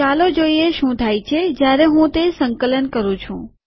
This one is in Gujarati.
ચાલો જોઈએ શું થાય છે જયારે હું તે સંકલન કરું છું